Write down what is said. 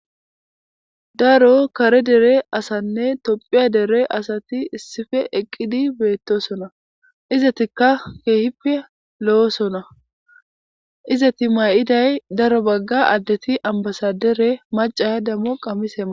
daro kare dere asanne tophiya dere asati issife eqqidi beettosona izatikka keehippe lo7osona izati ma7iday daro bagga addeti ambasadere macaya dammo qammisema